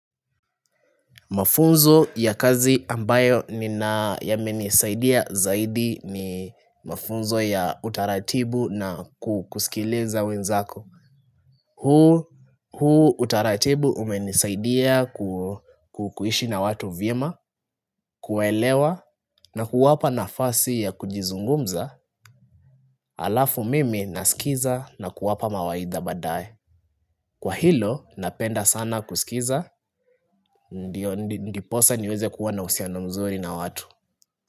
Mafunzo ya kazi ambayo ni na ya menisaidia zaidi ni mafunzo ya utaratibu na kukusikiliza wenzako. Huu utaratibu umenisaidia kukuishi na watu vyema, kuwaelewa na kuwapa nafasi ya kujizungumza halafu mimi nasikiza na kuwapa mawaidha baadaye. Kwa hilo napenda sana kusikiza, ndio ndiposa niweze kuwa na uhusiano mzuri na watu.